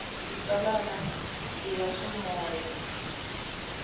xitsalwana i ya xiyimo xa